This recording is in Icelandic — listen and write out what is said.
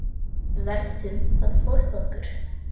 Við verðum að forða okkur.